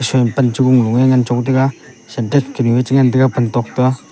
shen panchong loe nganchong taiga syntex chengan taiga pan tok toa.